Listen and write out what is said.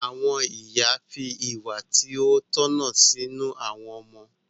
Àwọn ìyá fi ìwà tí ó tọ̀nà sínú àwọn ọmọ.